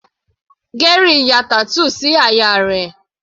Gary ya tattoo sí àyà rẹ̀.